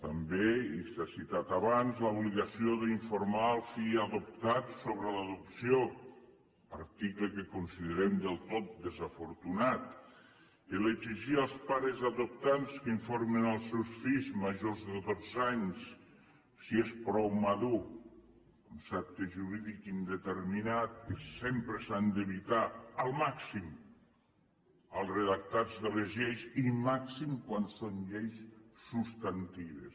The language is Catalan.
també i s’ha citat abans l’obligació d’informar el fill adoptat sobre l’adopció article que considerem del tot desafortunat exigir als pares adoptants que n’informin els seus fills majors de dotze anys si són prou madurs concepte jurídic indeterminat que sempre s’ha d’evitar al màxim als redactats de les lleis i màxim quan són lleis substantives